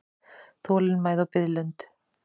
Þolinmæði og biðlund.